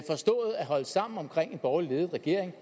holde sammen om en borgerligt ledet regering